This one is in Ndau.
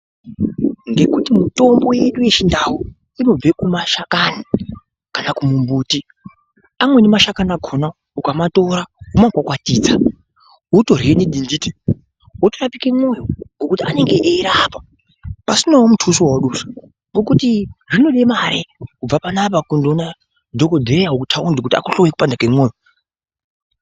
Ngekuti mitombo yedu yechindau inobve kumashakani kana kumumbuti amweni mashakani akona ukamatora womakwakwatidza wotorye nidhinditi wotorapike mwoyo ngokuti ange eirapa pasinawo mutuso wawadusa ngekuti zvinode mare kubva panapa kunoone dhokodheya wekutaundi kuti akuhloye kuoanda kwemoyo.